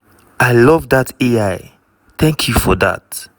"i love dat ai thank you for dat.